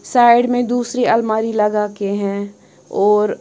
side में दूसरी अलमारी लगा के है और--